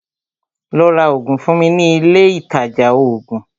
Lọ́ rá oògùn fún mi ní ilé Ilé ìtajà oògùn!